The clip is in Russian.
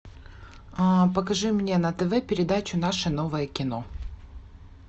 покажи мне на тв передачу наше новое кино